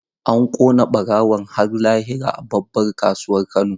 An kona barawon har lahira a babbar kasuwar Kano.